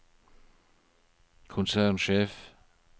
konsernsjef